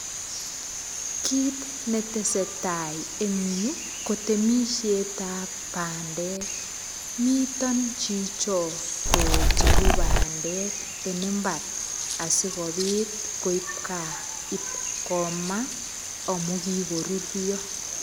Kiit netesetai eng yu ko temishet ap bandek moton chicho kocheru bandek en imbar asikobit koib kaa ip komaa amu kiko rurio.